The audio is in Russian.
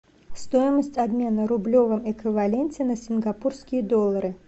стоимость обмена в рублевом эквиваленте на сингапурские доллары